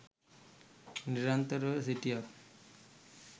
නිරන්තරව සිටියත්